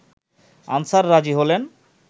answer রাজি হলেন